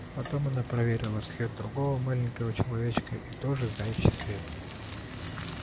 потом она проверила след другого маленького человечка и тоже заячий след